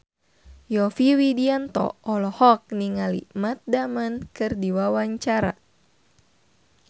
Yovie Widianto olohok ningali Matt Damon keur diwawancara